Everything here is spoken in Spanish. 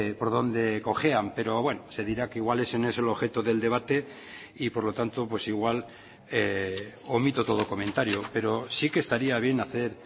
por dónde cojean pero bueno se dirá que igual ese no es el objeto del debate y por lo tanto pues igual omito todo comentario pero sí que estaría bien hacer